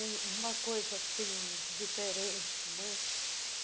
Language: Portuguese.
Um uma coisa, assim, diferente, né?